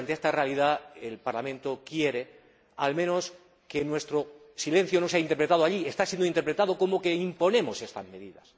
Comisario, ante esta realidad, el Parlamento quiere, al menos, que nuestro silencio no sea interpretado allí —como está siendo interpretado— como que imponemos estas medidas